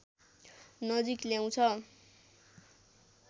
नजिक ल्याउँछ